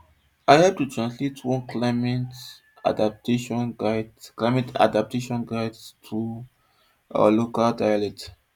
i hep translate one climate adaptation guide climate adaptation guide to our local dialect